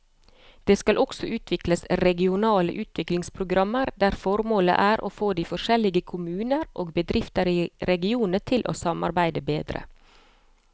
Det skal også utvikles regionale utviklingsprogrammer der formålet er å få de forskjellige kommuner og bedrifter i regionene til å samarbeide bedre.